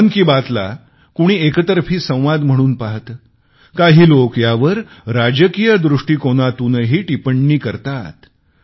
मन की बात ला कुणी एकतर्फी संवाद म्हणून पाहते काही लोक यावर राजकीय दृष्टिकोनातूनही टिपण्णी करतात